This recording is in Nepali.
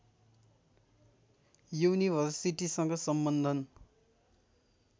युनिभर्सिटीसँग सम्बन्धन